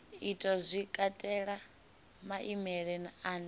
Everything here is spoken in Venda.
itwa zwi katela maimele ane